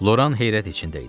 Loran heyrət içində idi.